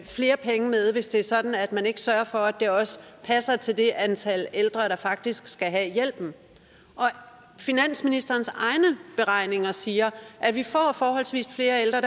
flere penge med hvis det er sådan at man ikke sørger for at det også passer til det antal ældre der faktisk skal have hjælpen finansministerens egne beregninger siger at vi får forholdsvis flere ældre